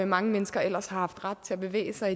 mange mennesker ellers har haft ret til at bevæge sig